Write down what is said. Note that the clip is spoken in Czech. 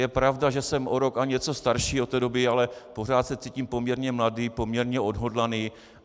Je pravda, že jsem o rok a něco starší od té doby, ale pořád se cítím poměrně mladý, poměrně odhodlaný.